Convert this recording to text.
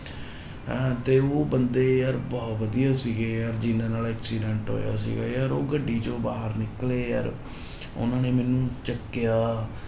ਹੈਂ ਤੇ ਉਹ ਬੰਦੇ ਯਾਰ ਬਹੁ ਵਧੀਆ ਸੀਗੇ ਯਾਰ ਜਿਹਨਾਂ ਨਾਲ accident ਹੋਇਆ ਸੀਗਾ ਯਾਰ ਉਹ ਗੱਡੀ ਚੋਂ ਬਾਹਰ ਨਿਕਲੇ ਯਾਰ ਉਹਨਾਂ ਨੇ ਮੈਨੂੰ ਚੁੱਕਿਆ